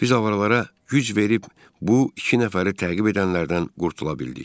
Biz avaralara güc verib, bu iki nəfəri təqib edənlərdən qurtula bildik.